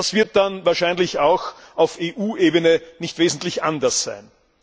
Das wird dann wahrscheinlich auch auf EU Ebene nicht wesentlich anders sein.